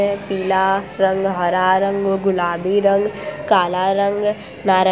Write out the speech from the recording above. यह पिला रंग हरा रंग गुलाबी रंग काला रंग नारंग --